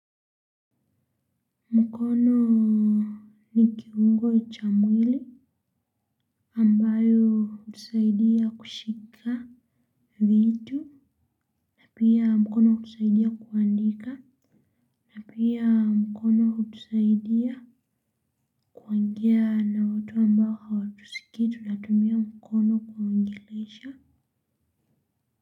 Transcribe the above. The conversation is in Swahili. Mkono ni kiungo cha mwili ambayo utusaidia kushika vitu. Pia mkono kutusaidia kuandika. Pia mkono hutusaidia kuongea na watu ambao hawatuskii tunatumia mkono kuwaongelesha.